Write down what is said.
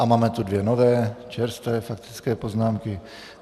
A máme tu dvě nové čerstvé faktické poznámky.